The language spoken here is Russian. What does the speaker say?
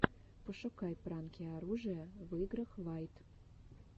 пошукай пранки оружия в играх вайт